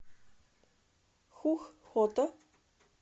хух хото